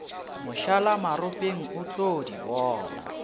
mošalamaropeng o tlo di bona